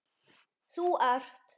Þú ert